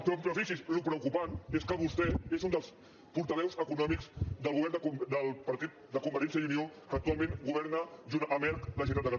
però fixi’s el preocupant és que vostè és un dels portaveus econòmics del govern del partit de convergència i unió que actualment governa junt amb erc la generalitat de catalunya